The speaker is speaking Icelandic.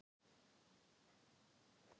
Það voru margir Erfiðasti andstæðingur?